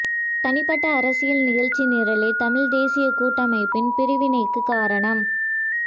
தனிப்பட்ட அரசியல் நிகழ்ச்சி நிரலே தமிழ் தேசிய கூட்டமைப்பின் பிரிவினைக்கு காரணம்